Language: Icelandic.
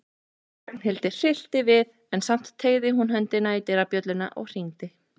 Ragnhildi hryllti við en samt teygði hún höndina í dyrabjölluna og hringdi.